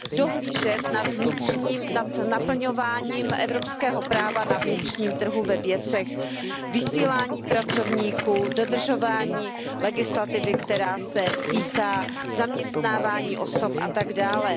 dohlížet na naplňování evropského práva na vnitřním trhu ve věcech vysílání pracovníků, dodržování legislativy, která se týká zaměstnávání osob, a tak dále.